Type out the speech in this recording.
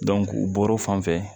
u bɔr'o fan fɛ